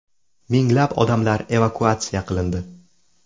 Minglab odamlar evakuatsiya qilindi.